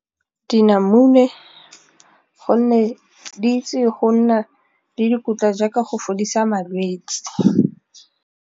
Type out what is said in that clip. Dinamune gonne di itse go nna le dikotla jaaka go fodisa malwetse.